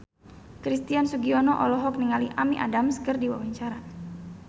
Christian Sugiono olohok ningali Amy Adams keur diwawancara